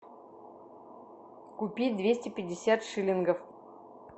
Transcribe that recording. купить двести пятьдесят шиллингов